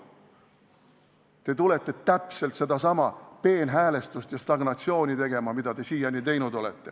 Te tulete täpselt sedasama peenhäälestust ja stagnatsiooni tegema, mida te siiani olete teinud.